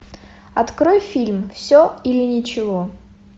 открой фильм все или ничего